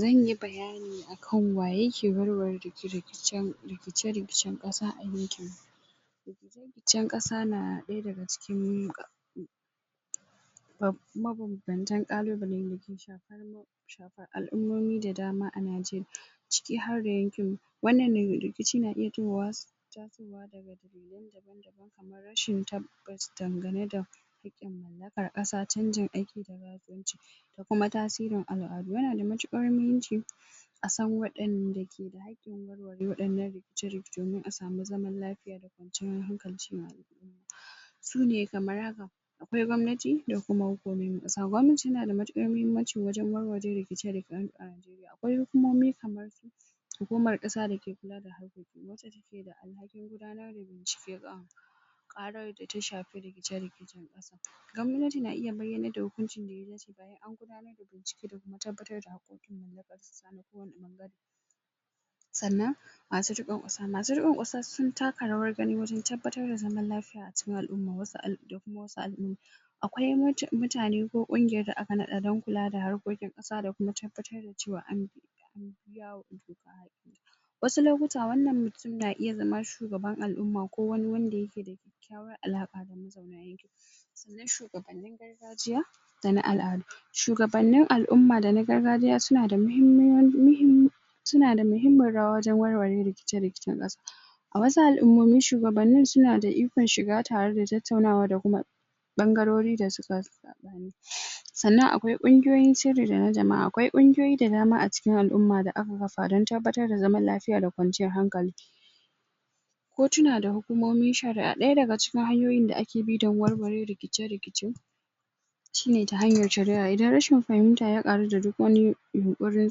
zanyi bayani akan wa yake warware rikice rikicen ƙasa a yankin rikicin ƙasa na ɗaya daga cikin mabanbantan ƙalubalen dake shafar al'uma da dama a Najeriya cikin harda yankin wannan rikici na iya tasowa daga kamar rashin tabbas dangane da haƙƙin mallakar ƙasa chanjin aiki da? da kuma tasirin al'adu yana da matuƙar muhimmanci a san waɗanda ke ake warware waɗannan rikici domin a samu zaman lafiya da kwanciyar hankali su ne kamar haka akwai gwanmati da kuma hukumomin ƙasa, gwamnati tana da matuƙar muhimmanci wajen warware rikice rikice akwai hukumomi kamar hukumar ƙasa dake kula da haƙƙoƙi wacce take da alhakin gudanar da bincike kan ƙarar da ta shafi rikice rikice gwamnati na iya bayyanar da hukuncin da ya dace bayan an gudanar da bincike da kuma tabbatar da haƙƙoƙin mallakar ƙasa da kuma sannan masu riƙon ƙasa masu riƙon ƙasa sun taka rawar gani wajen tabbatar da zaman lafiya a cikin al'uma da kuma wasu al'uma akwai mutane ko ƙungiyar da aka naɗa don kula da harkokin ƙasa da kuma tabbatar da cewa an biya buƙatu wasu lokuta wannan mutun na iya zama shugaban al'uma ko wani wanda yake da kyakkyawar alaƙa da mutanen yankin sannan shugabannin gaegajiya da na al'adu shugabannin al'uma da na gargajiya suna da mahimmanci suna da mahimmin rawa wajen warware rikice rikicen ƙasa a wasu al'umomi shugabannin suna da ikon shiga tare da tattaunawa da kuma ɓangariri da suka sannan akwai ƙungiyoyin sirri da na jama'a akwai ƙungiyoyi da dama a cikin al'umma da aka kafa don tabbatar da zaman lafiya da kwanciyar hankali kotuna da hukumomin shari'a ɗaya daga cikin hanyoyin da ake bi don warware rikice rikice shine ta hanyar shari'a idan rashin fahimta ya ƙaru da duk wani yunkurin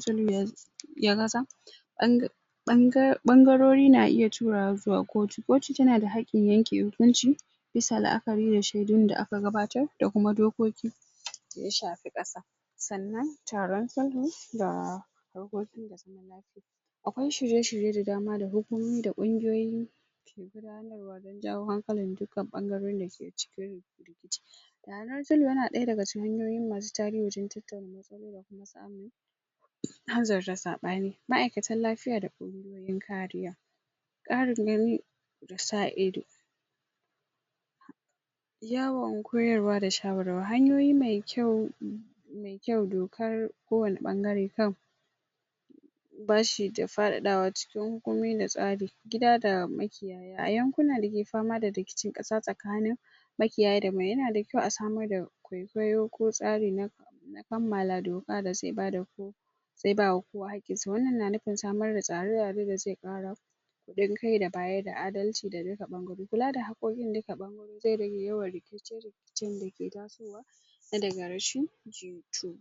sulhu ya gaza? ɓangarori na iya turawa zuwa kotu, kotu tana da haƙƙin yanke hukunci bisa la'akari da shaidun da aka bayar da kuma dokoki da ya shafi ƙasa sannan taron sulhu da haƙƙoƙi akwai shirye shirye da dama da hukumomi da ƙungiyoyi don jawo hankalin dukkan ɓangarorin dake cikin rikici sulhu yana ɗaya daga cikin hanyoyi masu tasiri wajen tattauna matsaloli da kuma samun hanzarta saɓani ma'aikatan lafiya da ƙungiyoyin ƙariya ƙarin gani da sa ido yawan koyarwa da shayarwa hanyoyi mai kyau kyau dokar ko wani ɓangare kan bashi da faɗaɗawa cikin hukumomi da tsari gida da makiyaya a yankuna da ke fama da rikicin ƙasa tsakanin makiyaya daban yana da kyau a samar da koyo ko tsari na na kammala doka da zai bada zai ba wa kowa haƙƙin sa wannan na nufin samar da tsare tsare da zai ƙara haɗin kai da bayar da adalci ga duka ɓangarori kula da haƙƙoƙin duka ɓangarori zai rage yawan rikice rikicen dake tasowa na daga rashin jituwa